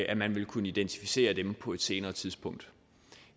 at man vil kunne identificere dem på et senere tidspunkt